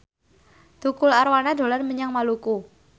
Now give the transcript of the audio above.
Tukul Arwana dolan menyang Maluku